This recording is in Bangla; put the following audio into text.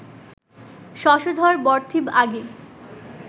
শশধর বরথিব আগি